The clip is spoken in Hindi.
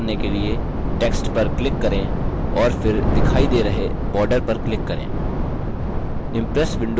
यह करने के लिए text पर click करें और फिर दिखाई दे रहे border पर click करें